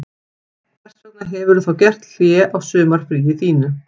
Hvers vegna hefurðu þá gert hlé á sumarfríinu þínu